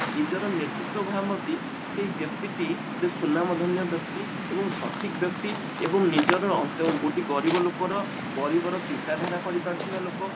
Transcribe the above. ନିଜର ନେତୃତ୍ଵ ଭାବନ୍ତି ସେଇ ବ୍ୟକ୍ତି ଟି ଗୋଟେ ସୁନାମ ଧନ୍ଯ ବ୍ୟକ୍ତି ଏବଂ ସଠିକ ବ୍ୟକ୍ତି ଏବଂ ନିଜର ଅ ଗୋଟେ ଗରିବ ଲୋକ ର ଗରିବ ର ଚିନ୍ତାଧାରା କରିପାରୁଥିବା ଲୋକ